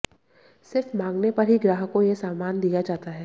सिर्फ मांगने पर ही ग्राहक को यह सामान दिया जाता है